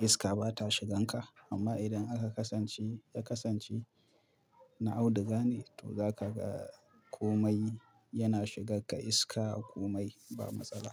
iska ba ta shigan ka. Amma idan aka kasance, ka kasance, na auduga ne, to za ka ga komai! Yana shigakka iska, komai ba matsala.